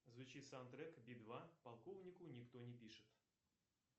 звучит саундтрек би два полковнику никто не пишет